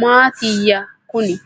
maatiyya kunin